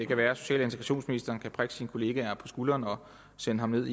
kan være at social og integrationsministeren kan prikke sine kollega på skulderen og sende ham ned